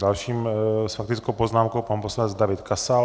Dalším s faktickou poznámkou - pan poslanec David Kasal.